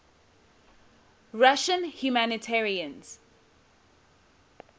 russian humanitarians